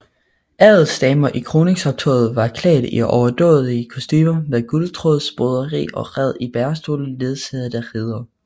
Adelsdamer i kroningsoptoget var klædt i overdådige kostumer med guldtråds broderi og red i bærestole ledsaget af riddere